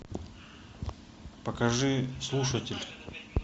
покажи слушатель